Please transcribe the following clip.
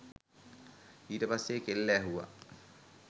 ඊට පස්සේ කෙල්ල ඇහුව